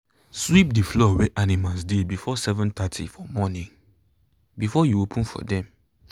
sweep the floor where animals dey before seven thirty for morning before you open for them.